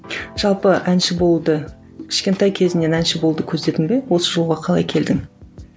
жалпы әнші болуды кішкентай кезіңнен әнші болуды көздедің бе осы жолға қалай келдің